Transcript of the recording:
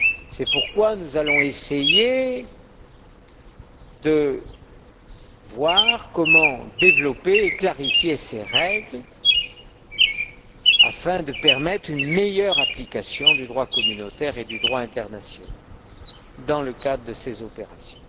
C'est pourquoi nous allons essayer de voir comment développer et clarifier ces règles afin de permettre une meilleure application du droit communautaire et du droit international dans le cadre de ces opérations.